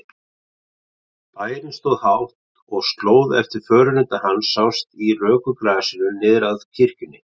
Bærinn stóð hátt og slóð eftir förunauta hans sást í röku grasinu niður að kirkjunni.